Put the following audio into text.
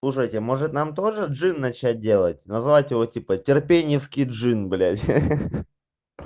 слушайте может нам тоже джин начать делать назвать его типа терпение в киджин блять